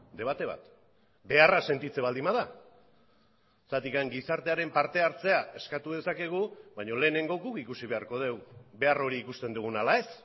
debate bat beharra sentitzen baldin bada zergatik gizartearen parte hartzea eskatu dezakegu baina lehenengo guk ikusi beharko dugu behar hori ikusten dugun ala ez